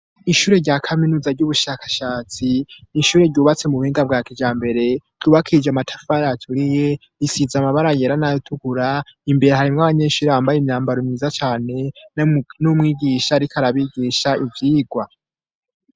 Ishure rya kaminuza ry'ubushakashatsi n'ishure ryubatse mu buhinga bwa kija mbere yubakije amatafayaturiye risiza amabara yera nayotukura imbere harimwo abanyenshuri bambaye imyambaro miza cane n'umwigisha, ariko arabigisha ivyigwa.